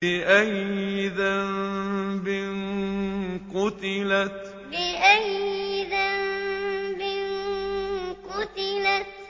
بِأَيِّ ذَنبٍ قُتِلَتْ بِأَيِّ ذَنبٍ قُتِلَتْ